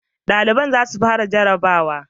Dalibai za su fara jarrabawa